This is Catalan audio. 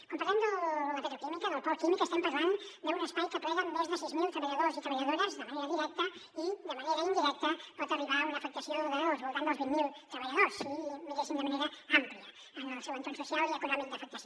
quan parlem de la petroquímica del pol químic estem parlant d’un espai que aplega més de sis mil treballadors i treballadores de manera directa i de manera indirecta pot arribar a una afectació del voltant dels vint mil treballadors si ho miréssim de manera àmplia en el seu entorn social i econòmic d’afectació